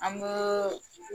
An booo